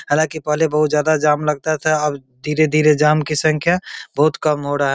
हालांकि पहले बहोत ज्यादा जाम लगता था अब धीरे-धीरे जाम की संख्या बहोत कम हो रहा है।